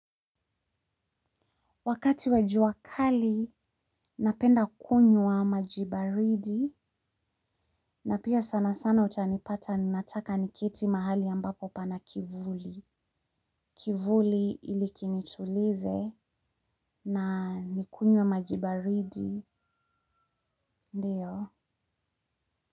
Wakati wa jua kali, napenda kunywa maji baridi na pia sana sana utanipata ninataka niketi mahali ambapo pana kivuli. Kivuli ili kinitulize na nikunywe maji baridi ndiyo.